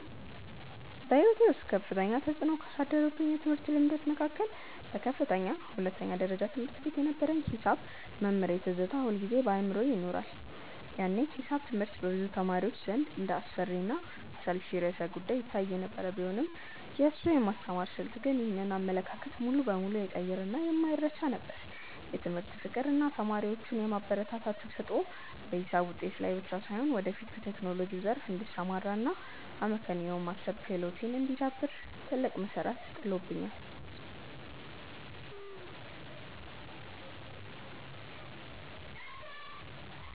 በሕይወቴ ውስጥ ከፍተኛ ተፅዕኖ ካሳደሩብኝ የትምህርት ልምዶች መካከል በከፍተኛ ሁለተኛ ደረጃ ትምህርት ቤት የነበረኝ የሒሳብ መምህሬ ትዝታ ሁልጊዜም በአእምሮዬ ይኖራል። ያኔ ሒሳብ ትምህርት በብዙ ተማሪዎች ዘንድ እንደ አስፈሪና አሰልቺ ርዕሰ-ጉዳይ ይታይ የነበረ ቢሆንም፣ የእሱ የማስተማር ስልት ግን ይህንን አመለካከት ሙሉ በሙሉ የቀየረና የማይረሳ ነበር። የትምህርት ፍቅር እና ተማሪዎቹን የማበረታታት ተሰጥኦ በሒሳብ ውጤቴ ላይ ብቻ ሳይሆን፣ ወደፊት በቴክኖሎጂው ዘርፍ እንድሰማራ እና አመክንዮአዊ የማሰብ ክህሎቴ እንዲዳብር ትልቅ መሠረት ጥሎልኛል።